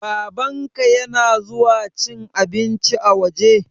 Babanka ya na zuwa cin abinci a waje?